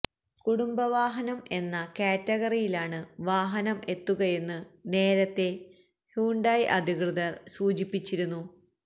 കുടുംബ വാഹനം എന്ന കാറ്റഗറിയിലാണ് വാഹനം എത്തുകയെന്ന് നേരത്തെ ഹ്യുണ്ടായി അധികൃതര് സൂചിപ്പിച്ചിരുന്നു